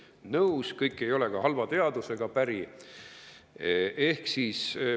Olen nõus, et kõik ei ole ka halva teaduse päri.